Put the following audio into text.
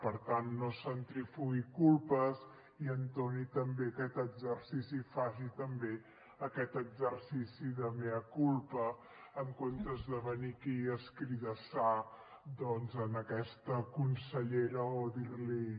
per tant no centrifugui culpes i entoni també aquest exercici faci també aquest exercici de mea culpa en comptes de venir aquí a escridassar doncs a aquesta consellera o dir li